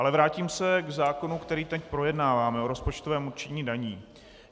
Ale vrátím se k zákonu, který teď projednáváme, o rozpočtovém určení daní.